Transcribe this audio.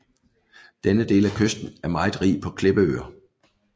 Denne del af kysten er meget rig på klippeøer